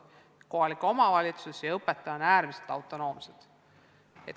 Kohalik omavalitsus ja õpetaja on äärmiselt autonoomsed.